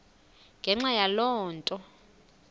ngenxa yaloo nto